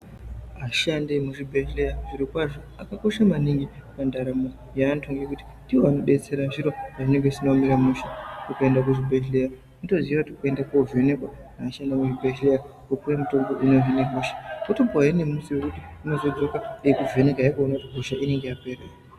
Ashandi yemuzvibhedhleya zvirokwazvo akakosha maningi pandaramo yeantu ngekuti ndiwo anodetsera zviro pazvinenge zvisina kumira mushe. Ukaenda kuchibhedhleya unotoziya kuti urikuenda kunovhenekwa anoshandisa muzvibhedhleya, wopuwe mutombo inohine hosha. Wotopuwahe nemusi wekuti unozodzoka veikuvhekahe kuona kuti hosha inenge yapera here.